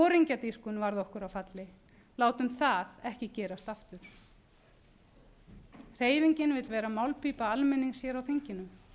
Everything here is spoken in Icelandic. foringjadýrkun varð okkur að falli látum það ekki gerast aftur hreyfingin vill vera málpípa almennings hér á þinginu